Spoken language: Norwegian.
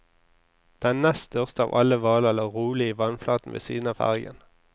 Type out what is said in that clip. Den nest største av alle hvaler lå rolig i vannflaten ved siden av fergen.